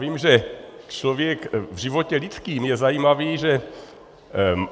Vím, že člověk, v životě lidském je zajímavé, že...